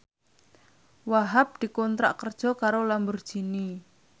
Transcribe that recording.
Wahhab dikontrak kerja karo Lamborghini